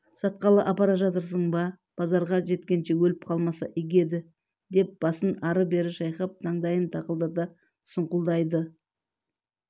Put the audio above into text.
сатқалы апара жатырсың ба базарға жеткенше өліп қалмаса игі еді деп басын ары-бері шайқап таңдайын тақылдата сұңқылдайды